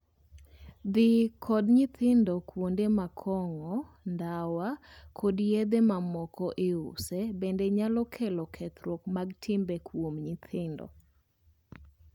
Dhii kod nyithindo kuonde ma kong'o, ndawa, kod yedhe mamoko iuse bende nyalo kelo kethruok mag timbe kuom nyithindo.